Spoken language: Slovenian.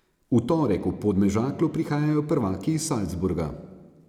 V torek v Podmežaklo prihajajo prvaki iz Salzburga.